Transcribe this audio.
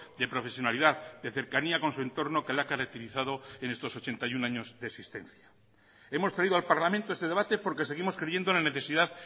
de profesionalidad de cercanía con su entorno que le ha caracterizado en estos ochenta y uno años de existencia hemos traído al parlamento este debate porque seguimos creyendo en la necesidad